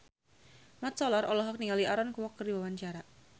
Mat Solar olohok ningali Aaron Kwok keur diwawancara